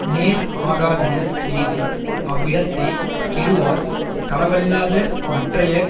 நேர் ஆகாதன செய்து அவ்விடத்தே கெடுவார் களவல்லாத மற்றைய